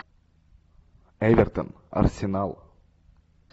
эвертон арсенал